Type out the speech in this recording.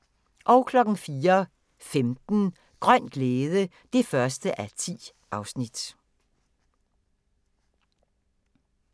04:15: Grøn glæde (1:10)